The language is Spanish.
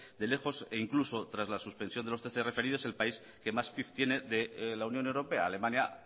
de lejos e incluso tras la suspensión de los trece referidos el país que más pif tiene de la unión europea alemania